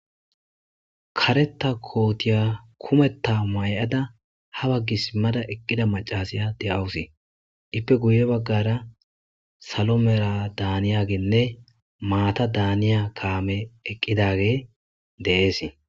kareta kootiya kumetta may7ada ha baggi simmada eqqida macasiya de7awusi ippe guye baggara salo mera daaniyaginne maata daaniya kaame eqqidage de7eesi.